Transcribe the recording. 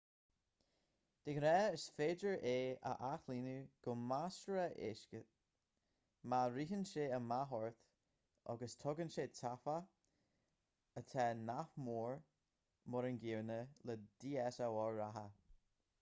de ghnáth is féidir é a athlíonadh go measartha éasca má ritheann sé amach ort agus tugann sé taifeach atá nach mór mar an gcéanna le dslr reatha